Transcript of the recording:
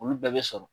Olu bɛɛ bɛ sɔrɔ